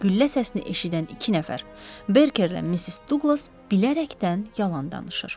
Güllə səsini eşidən iki nəfər, Berkerlə Missis Duqlas bilərəkdən yalan danışır.